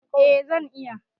A zan iya